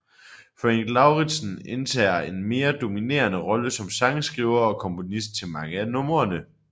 Frank Lauridsen indtager en mere dominerende rolle som sangskriver og komponist til mange af numrene